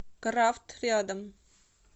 крафт рядом